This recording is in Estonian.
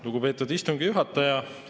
Lugupeetud istungi juhataja!